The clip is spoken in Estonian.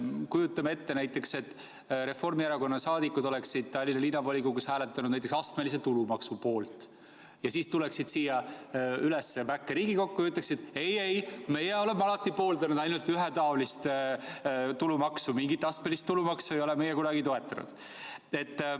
Kujutame ette, et Reformierakonna liikmed oleksid Tallinna Linnavolikogus hääletanud astmelise tulumaksu poolt ja siis tuleksid siia üles mäkke Riigikokku ja ütleksid, et ei-ei, meie oleme alati pooldanud ainult ühetaolist tulumaksu, mingit astmelist tulumaksu ei ole me kunagi toetanud.